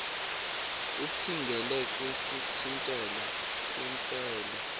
uphingele kwisithintelo kwintsele